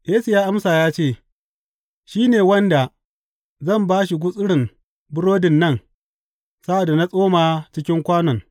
Yesu ya amsa ya ce, Shi ne wanda zan ba shi gutsurin burodin nan sa’ad da na tsoma cikin kwanon.